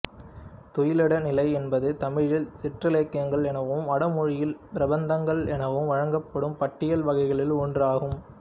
துயிலெடை நிலை என்பது தமிழில் சிற்றிலக்கியங்கள் எனவும் வடமொழியில் பிரபந்தங்கள் எனவும் வழங்கும் பாட்டியல் வகைகளுள் ஒன்று ஆகும்